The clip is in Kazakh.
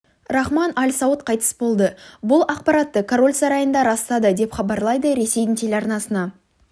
рахман аль сауд қайтыс болды бұл ақпаратты король сарайында растады деп хабарлайды ресейдің телеарнасына